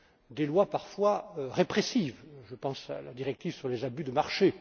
Des lois parfois répressives je pense à la directive sur les abus de marché.